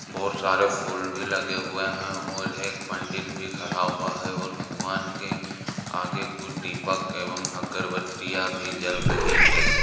बहुत सारे फूल भी लगे हुए हैं। और एक पंडित भी खड़ा हुआ है। और भगवान के आगे कुछ दीपक जल रहे हैं। एवं अगरबत्तियां भी जल रही है।